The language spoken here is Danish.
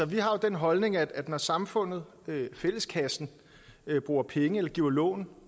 vi har den holdning at når samfundet fælleskassen bruger penge eller giver lån